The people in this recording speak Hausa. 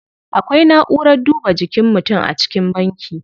Akwai na'urar duba jikin mutum a cikin banki.